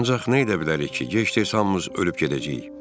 Ancaq nə edə bilərik ki, gec-tez hamımız ölüb gedəcəyik.